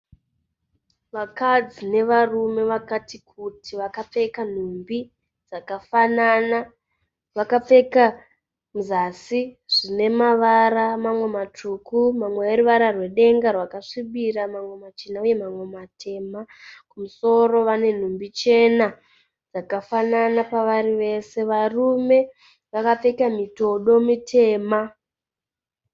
Vakadzi nevarume vakati kuti vakapfeka nhumbi dzakafanana. Vakapfeka kuzasi zvinemara mamwe matsvuku mamwe eruvara rwedenga rwakasvibira, mamamwe machena uye mamwe matema. Kumusoro vane nhumbi chena dzakafanana pavari vese. Varume vakapfeka mitodo mitema.